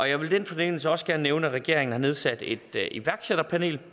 jeg vil i den forbindelse også gerne nævne at regeringen har nedsat et iværksætterpanel